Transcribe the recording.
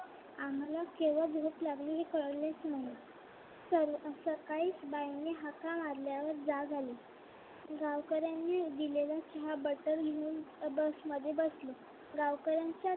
आम्हाला केव्हा झोप लागली हे कळलेच नाही. तर सकाळी बाईंनी हाका मारल्यावर जाग आली. गावकर्यांनी दिलेला चहा बटर घेऊन बसमध्ये बसले. गावकऱ्यांच्या